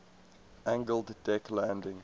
angled deck landing